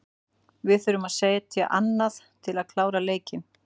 Við þurfum að setja annað til að geta klárað leikinn.